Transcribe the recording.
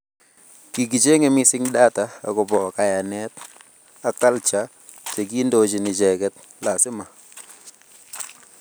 Kikicheng'e missing data akobo kayanet ak culture che kondochin icheket lazima